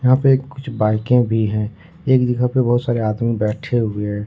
यहां पे कुछ बाइके भी हैं एक जगह पे बहोत सारे आदमी बैठे हुए है।